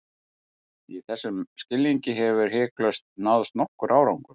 Í þessum skilningi hefur hiklaust náðst nokkur árangur.